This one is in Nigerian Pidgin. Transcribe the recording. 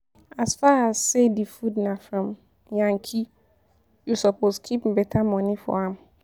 As far as sey di food na from yankee, you suppose keep beta moni for am.